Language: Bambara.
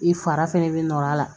I fara fɛnɛ bɛ nɔr'a la